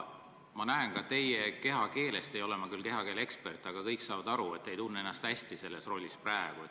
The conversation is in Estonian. Ma näen ka teie kehakeelest – ma ei ole küll kehakeele ekspert, aga kõik saavad aru –, et te ei tunne ennast selles rollis praegu hästi.